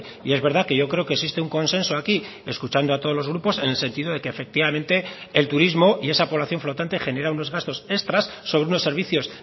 y es verdad que yo creo que existe un consenso aquí escuchando a todos los grupos en el sentido de que efectivamente el turismo y esa población flotante genera unos gastos extras sobre unos servicios